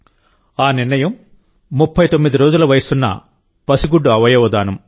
ఆ నిర్ణయం ముప్పై తొమ్మిది రోజుల వయస్సున్న పసిగుడ్డు అవయవ దానం